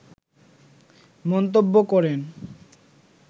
মন্তব্য করেন